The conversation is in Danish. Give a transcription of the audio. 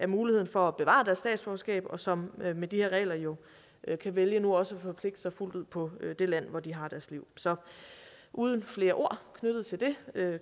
muligheden for at bevare deres statsborgerskab og som med de her regler jo kan vælge nu også at forpligte sig fuldt ud på det land hvor de har deres liv så uden flere ord knyttet til det